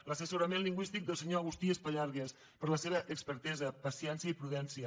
l’assessorament lingüístic del senyor agustí espallargas per la seva expertesa paciència i prudència